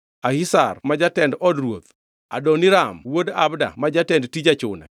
Ahishar ma jatend od ruoth; Adoniram wuod Abda ma jatend tij achune.